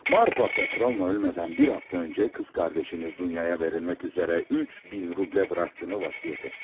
Marfa Petrovna ölmədən bir həftə əvvəl bacınız Dunyaya verilmək üzrə 3000 rubl buraxdığını vəsiyyət etdi.